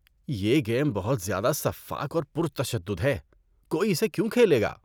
یہ گیم بہت زیادہ سفّاک اور پُرتشدد ہے۔ کوئی اسے کیوں کھیلے گا؟